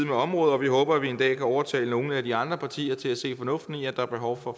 med området og vi håber at vi en dag kan overtale nogle af de andre partier til at se fornuften i at der er behov for